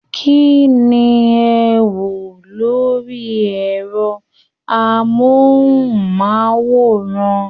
Kínní ẹ̀ n wo lori ẹrọ amohunmaworan?